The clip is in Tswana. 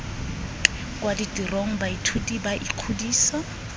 kwa ditirong baithuti ba ikgodisa